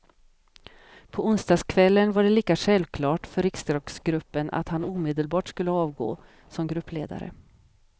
På onsdagskvällen var det lika självklart för riksdagsgruppen att han omedelbart skulle avgå som gruppledare.